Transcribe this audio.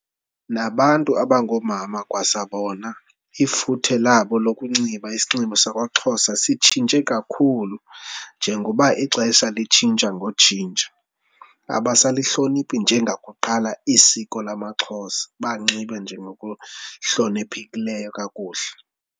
Nabantu abangoomama kwasabona ifuthe labo lokunxiba isinxibo sakwaXhosa sitshintshe kakhulu, njengoba ixesha litshintsha ngotshintsho abasalihloniphi njengakuqala isiko lamaXhosa, banxibe njengokuhloniphekileyo kakuhle.